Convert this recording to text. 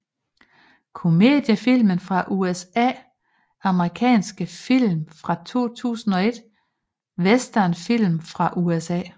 Komediefilm fra USA Amerikanske film fra 2001 Westernfilm fra USA